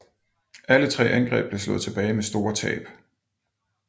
Alle tre angreb blev slået tilbage med store tab